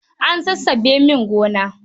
An sassabe min gona.